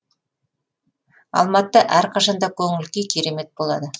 алматыда әрқашан да көңіл күй керемет болады